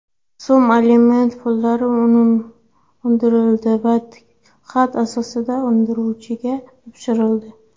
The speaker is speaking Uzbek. so‘m aliment pullari undirildi va tilxat asosida undiruvchiga topshirildi.